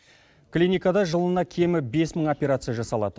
клиникада жылына кемі бес мың операция жасалады